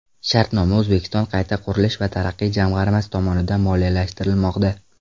Shartnoma O‘zbekiston qayta qurish va taraqqiyot jamg‘armasi tomonidan moliyalashtirilmoqda.